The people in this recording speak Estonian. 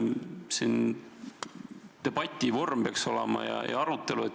Siin peaks olema debatt ja arutelu.